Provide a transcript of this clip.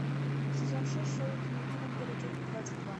сезон шесть шоу дневники вампира часть двадцать два